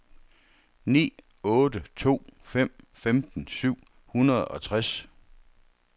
ni otte to fem femten syv hundrede og tres